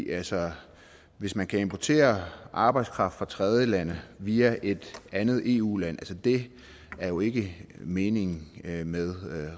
altså hvis man kan importere arbejdskraft fra tredjelande via et andet eu land det er jo ikke meningen med med